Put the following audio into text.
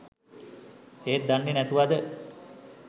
ඒත් දන්නෙ නැතුවද